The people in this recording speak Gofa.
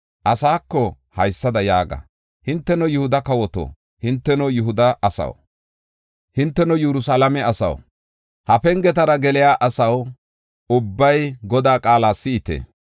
Asaako haysada yaaga: ‘Hinteno Yihuda kawoto, hinteno Yihuda asaw, hinteno Yerusalaame asaw, ha pengetara geliya asaw, ubbay Godaa qaala si7ite.